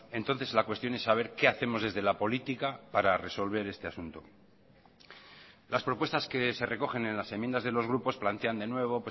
entonces la cuestión es saber qué hacemos desde la política para resolver este asunto las propuestas que se recogen en las enmiendas de los grupos plantean de nuevo